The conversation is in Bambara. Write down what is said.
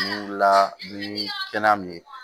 Ni wulila ni kɛnɛ min ye